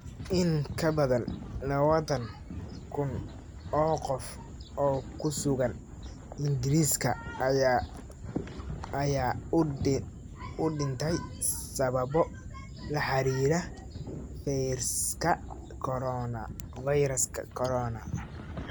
In ka badan lawatan kun oo qof oo ku sugan Ingiriiska ayaa u dhintay sababo la xiriira fayraska corona.